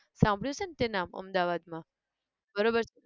સાંભળ્યું છે ન તે નામ અમદાવાદ માં બરોબર